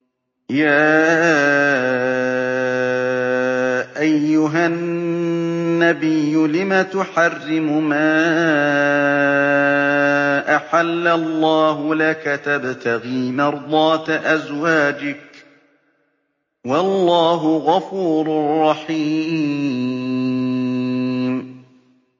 يَا أَيُّهَا النَّبِيُّ لِمَ تُحَرِّمُ مَا أَحَلَّ اللَّهُ لَكَ ۖ تَبْتَغِي مَرْضَاتَ أَزْوَاجِكَ ۚ وَاللَّهُ غَفُورٌ رَّحِيمٌ